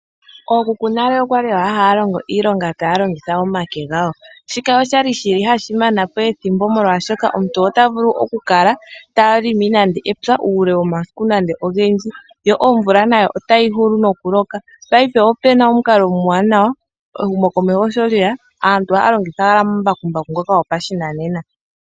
Ookuku nale okali haya longo iilonga taya longitha omake gawo, shika oshali hashi mana po ethimbo, molwashoka omuntu ota vulu oku kala ta longo epya uule womasiku ogendji. Paife opu na omukalo omuwanawa, ehumokomeho shi lye ya aantu ohaya longitha omambakumbaku.